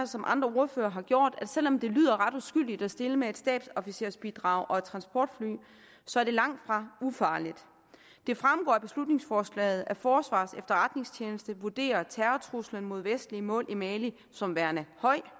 som andre ordførere har gjort at selv om det lyder ret uskyldigt at stille med et stabsofficersbidrag og et transportfly så er det langtfra ufarligt det fremgår af beslutningsforslaget at forsvarets efterretningstjeneste vurderer terrortruslen mod vestlige mål i mali som værende